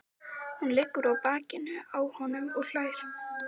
Hún liggur á bakinu á honum og hlær.